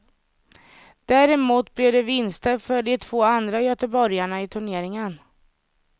Däremot blev det vinster för de två andra göteborgarna i turneringen.